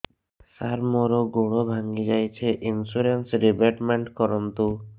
ସାର ମୋର ଗୋଡ ଭାଙ୍ଗି ଯାଇଛି ଇନ୍ସୁରେନ୍ସ ରିବେଟମେଣ୍ଟ କରୁନ୍ତୁ